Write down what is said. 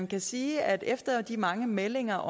vil sige at efter de mange meldinger